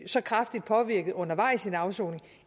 så kraftigt påvirket undervejs i en afsoning